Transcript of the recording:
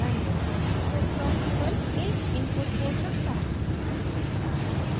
ध्यान दें कि cscope ब्लॉक केवल एक इनपुट पोर्ट रखता है